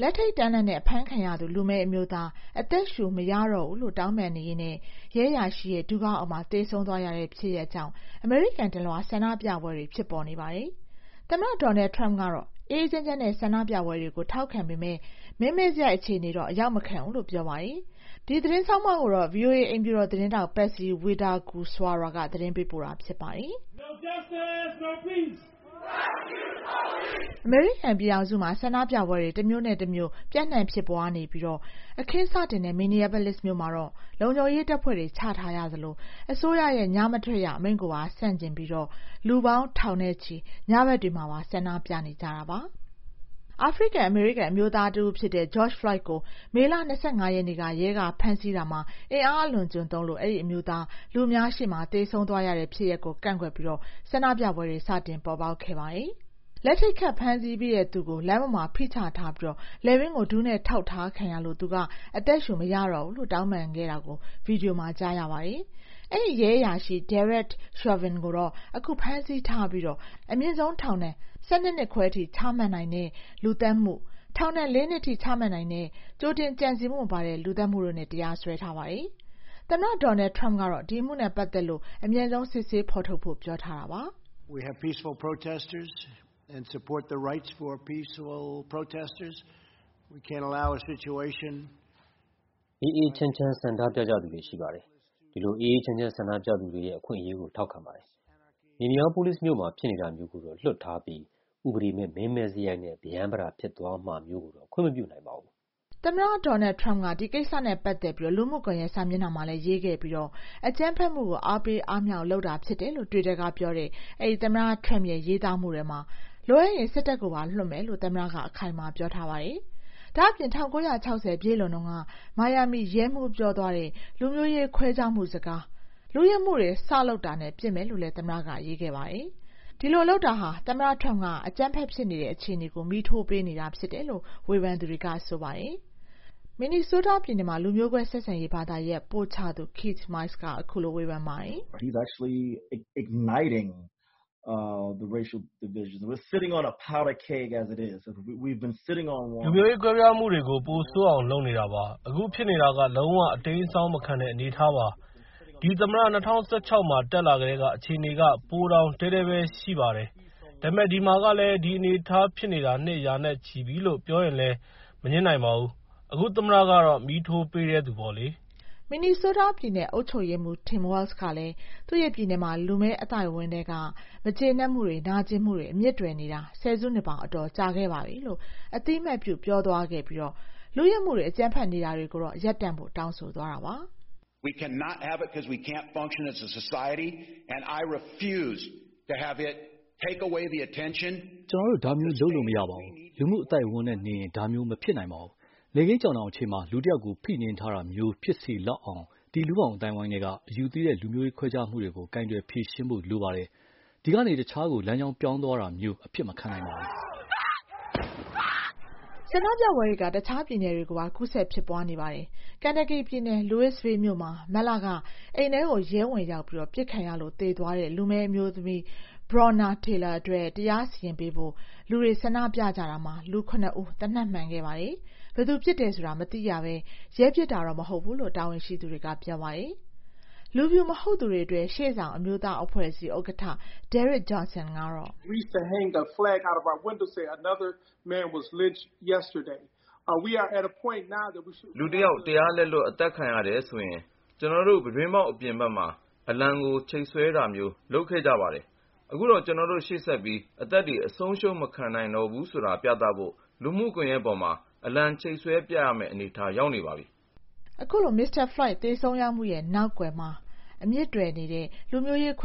လက်ထိပ်တန်းလန်းနဲ့ အဖမ်းခံရသူ လူမည်းအမျိုးသား အသက်ရှူမရတော့ဘူးလို့ တောင်းပန်ရင်းနဲ့ လည်ပင်းကို ဒူးနဲ့ထောက်ခံထားရာကနေ သေဆုံးသွားရတဲ့ ဖြစ်ရပ်ကြောင့် အမေရိကန်တလွှား ဆန္ဒပြပွဲတွေ ဖြစ်ပေါ်နေပါတယ်။ သမ္မတ Donald Trump ကတော့ အေးအေးချမ်းချမ်း ဆန္ဒပြကြတာကို ထောက်ခံပေမယ့် မင်းမဲ့စရိုက် အခြေအနေမျိုးတော့ အရောက်မခံနိုင်ဘူးလို့ ပြောပါတယ်။ ဗွီအိုအေ အိမ်ဖြူတော်သတင်းထောက် Patsy Widukuswara သတင်းပေးပို့တာကို မအေးသန္တာကျော် တင်ပြထားပါတယ်။ အမေရိကန်ပြည်ထောင်စုမှာ ဆန္ဒပြပွဲတွေ တမြို့နဲ့တမြို့ ပျံ့နှံ့ ဖြစ်ပွားနေပြီး အခင်းစတင်တဲ့ Minneapolis မြို့မှာ လုံခြုံရေးတပ်ဖွဲ့တွေ ချထားရသလို အစိုးရရဲ့ ညမထွက်ရအမိန့်ကို ဆန့်ကျင်ပြီး လူပေါင်းထောင်နဲ့ချီ ၄ ညမြောက်အဖြစ် ညဘက်တွေပါ ဆန္ဒပြနေကြပါတယ်။ အာဖရိကန်-အမေရိကန် အမျိုးသားတဦးဖြစ်တဲ့ George Floyd ကို မေလ ၂၅ ရက်နေ့က ရဲက ဖမ်းဆီးတာမှာ အင်အားအလွန်အကျွံသုံးလို့ အဲဒီအမျိုးသား လူအများရှေ့မှာ သေဆုံးသွားရတဲ့ ဖြစ်ရပ်ကို ကန့်ကွက်ပြီး ဆန္ဒပြပွဲတွေ စတင် ပေါ်ပေါက်လာတာပါ။ လက်ထိပ်ခတ်ဖမ်းဆီးပြီး သူ့ကို လမ်းပေါ်မှာ ဖိချထားပြီး လည်ပင်းကို ဒူးနဲ့ထောက်ထားခံရလို့ သူက အသက်ရှူမရတော့ဘူးလို့ တောင်းပန်ခဲ့တာကို ဗွီဒီယိုမှာ ကြားရပါတယ်။ အဲဒီရဲအရာရှိ Derek Chauvin ကို အခုဖမ်းထားပြီး အမြင့်ဆုံး ထောင်ဒဏ် ၁၂ နှစ်ခွဲထိ ချမှတ်နိုင်တဲ့ လူသတ်မှု၊ ထောင်ဒဏ် ၄ နှစ်ထိ ချမှတ်နိုင်တဲ့ ကြိုတင်ကြံစည်မှုမပါတဲ့ လူသတ်မှုတို့နဲ့ တရားစွဲထားပါတယ်။ သမ္မတ Donald Trump ကတော့ ဒီအမှုနဲ့ပတ်သက်ပြီး အမြန်ဆုံး စစ်ဆေးဖော်ထုတ်ဖို့ ပြောထားတာပါ။ “အေးအေးချမ်းချမ်း ဆန္ဒပြကြသူတွေ ရှိပါတယ်။ ဒီလို အေးအေးချမ်းချမ်း ဆန္ဒပြသူတွေရဲ့ အခွင့်အရေးကို ထောက်ခံပါတယ်။ Minneapolis မြို့မှာ ဖြစ်နေတာမျိုးကိုတော့ လွှတ်ထားပြီး ဥပဒေမဲ့ မင်းမဲ့စရိုက်နဲ့ ပရမ်းပတာ ဖြစ်သွားမှာကိုတော့ ခွင့်မပြုနိုင်ပါဘူး။” အကြမ်းဖက်မှုကို အားပေးအားမြှောက်လုပ်တာ ဖြစ်တယ်လို့ တွစ်တာကပြောတဲ့ သမ္မတ Trump သောကြာနေ့က ရေးသားမှုထဲမှာ လိုအပ်ရင် စစ်တပ်ကိုပါ လွှတ်မယ်လို့ သမ္မတ Trump အခိုင်အမာ ပြောထားပါတယ်။ ဒါ့အပြင် ၁၉၆၀ ပြည့်လွန်တုန်းက မိုင်ယာမီရဲမှူး ပြောသွားတဲ့ လူမျိုးရေးခွဲခြားမှု စကား “လုယက်မှုတွေ စလုပ်တာနဲ့ ပစ်မယ်” လို့လည်း သမ္မတက ရေးခဲ့ပါတယ်။ ဒီလိုလုပ်တာဟာ သမ္မတ Trump က အကြမ်းဖက်ဖြစ်နေတဲ့ အခြေအနေကို မီးထိုးပေးနေတာဖြစ်တယ်လို့ ဝေဖန်သူတွေက ဆိုပါတယ်။ Minnesota တက္ကသိုလ်က လူမျိုးကွဲဆက်ဆံရေးဘာသာရပ် ပို့ချသူ Keith Mayes ကတော့ အခုလိုဝေဖန်ပါတယ်။ “လူမျိုးရေးကွဲပြားမှုတွေကို ပိုဆိုးအောင် လုပ်နေတာပါ။ အခုဖြစ်နေတာက လုံးဝ အတိမ်းအစောင်းမခံတဲ့ အနေအထားပါ။ ဒီသမ္မတ ၂၀၁၆ မှာ တက်လာကတည်းက အခြေအနေက ပိုတောင် တည်းတည်းပဲ ရှိပါတယ်။ ဒါပေမယ့် ဒီမှာကလည်း ဒီအနေအထားဖြစ်နေတာ နှစ်ရာနဲ့ချီပြီလို့ ပြောရင်လည်း မငြင်းနိုင်ပါဘူး။ အခု သမ္မတကတော့ မီးထိုးပေးတဲ့သူပေါ့လေ။” Minnesota ပြည်နယ်အုပ်ချုပ်ရေးမှူး Tim Walz ကလည်း သူ့ပြည်နယ်မှာ လူမည်းအသိုက်အဝန်းထဲက မကျေနပ်မှုတွေ နာကျင်မှုတွေ အမြစ်တွယ်နေတာ ဆယ်စုနှစ်ပေါင်း အတော်ကြာခဲ့ပါပြီလို့ အသိအမှတ်ပြုသွားပြီး လုယက်မှုတွေ အကြမ်းဖက်နေတာတွေကိုတော့ ရပ်တန့်ဖို့ တောင်းဆိုသွားပါတယ်။ “ကျနော်တို့ ဒါမျိုးလုပ်လို့ မရပါဘူး၊ လူမှုအသိုက်အဝန်းနဲ့နေရင် ဒါမျိုးမဖြစ်နိုင်ပါဘူး။ နေ့ခင်းကြောင်တောင်အချိန်မှာ လူတယောက်ကို ဖိနင်းထားတာမျိုး ဖြစ်စေလောက်အောင်၊ ဒီလူ့ဘောင်အသိုက်အဝန်းထဲက အယူသီးတဲ့ လူမျိုးရေး ခွဲခြားမှုတွေကို ကိုင်တွယ်ဖြေရှင်းဖို့ လိုပါတယ်။ ဒီကနေ တခြားကို လမ်းကြောင်းပြောင်းသွားမှာမျိုး အဖြစ်မခံနိုင်ပါဘူး။” ဆန္ဒပြပွဲတွေက တခြားပြည်နယ်တွေကိုပါ ကူးစက် ဖြစ်ပွားနေတာပါ။ Kentucky ပြည်နယ် Louisville မြို့မှာ မတ်လက အိမ်ထဲကို ရဲဝင်ရောက်ပြီး ပစ်ခံရလို့ သေသွားတဲ့ လူမည်းအမျိုးသမီး Breonna Taylor အတွက် တရားစီရင်ပေးဖို့ လူတွေ ဆန္ဒပြကြတာမှာ လူ ၇ ဦး သေနတ်မှန်ခဲ့ပါတယ်။ ဘယ်သူပစ်တယ်ဆိုတာ မသိရဘဲ ရဲပစ်တာ မဟုတ်ဘူးလို့တော့ တာဝန်ရှိသူတွေက ပြောပါတယ်။ လူဖြူမဟုတ်သူတွေအတွက် ရှေ့ဆောင် အမျိုးသားအဖွဲ့အစည်း NAACP ဥက္ကဋ္ဌ Derrick Johnson ကတော့... “လူတယောက် တရားလက်လွတ် အသတ်ခံရတယ်ဆိုရင် ကျနော်တို့ ပြတင်းပေါက်အပြင်မှာ အလံကို ချိတ်ဆွဲတာမျိုး လုပ်ခဲ့တယ်။ အခုတော့ ကျနော်တို့ ရှေ့ဆက်ပြီး အသက်တွေ အဆုံးရှုံးမခံနိုင်တော့ဘူး ဆိုတာပြဖို့ လူမှုကွန်ရက်မှာ အလံချိတ်ဆွဲပြရမယ့် အနေအထား ရောက်နေပါပြီ။” လို့ ပြောပါတယ်။ ဒီမိုကရက်